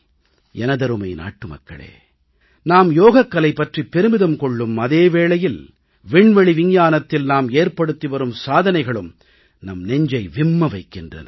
எனதருமை நாட்டுமக்களே நாம் யோகக்கலை பற்றி பெருமிதம் கொள்ளும் அதே வேளையில் விண்வெளி விஞ்ஞானத்தில் நாம் ஏற்படுத்தி வரும் சாதனைகளும் நம் நெஞ்சை விம்ம வைக்கின்றன